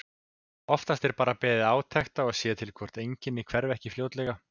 Oftast er bara beðið átekta og séð til hvort einkennin hverfi ekki fljótlega.